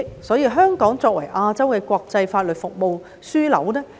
因此，香港絕對可以作為亞洲國際法律服務的樞紐。